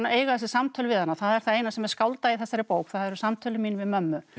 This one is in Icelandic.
eiga þessi samtöl við hana það er það eina sem er skáldað í þessari bók það eru samtölin mín við mömmu